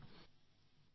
byte